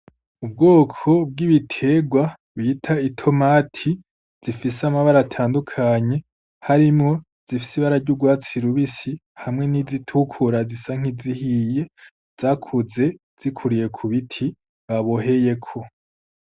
Ubwoko bw'ibiterwa bita itomati zifise amabara atandukanye, harimwo izifise ibara ry'urwatsi rubisi hamwe n'izitukura zisa nk'izihiye zakuze zikuriye ku biti baboheyeko.